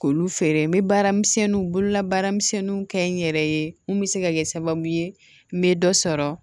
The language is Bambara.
K'olu feere n bɛ baaramisɛnninw bololabaaramisɛnninw kɛ n yɛrɛ ye mun bɛ se ka kɛ sababu ye n bɛ dɔ sɔrɔ